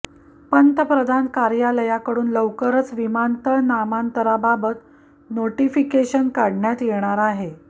पंतप्रधान कार्यालयाकडून लवकरच विमानतळ नामांतराबाबत नोटीफिकेशन काढण्यात येणार आहे